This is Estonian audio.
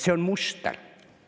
See on muster.